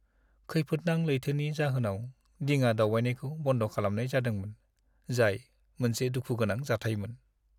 खैफोदनां लैथोनि जाहोनाव दिङा दावबायनायखौ बन्द खालामनाय जादोंमोन, जाय मोनसे दुखु गोनां जाथायमोन।